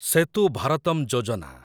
ସେତୁ ଭାରତମ୍ ଯୋଜନା